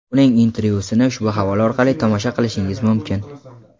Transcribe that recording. Uning intervyusini ushbu havola orqali tomosha qilishingiz mumkin.